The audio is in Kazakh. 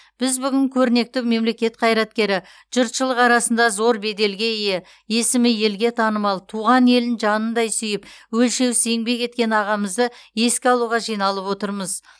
біз бүгін көрнекті мемлекет қайраткері жұртшылық арасында зор беделге ие есімі елге танымал туған елін жанындай сүйіп өлшеусіз еңбек еткен ағамызды еске алуға жиналып отырмыз